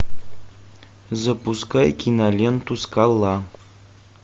запускай киноленту скала